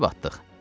Kəsib atdıq.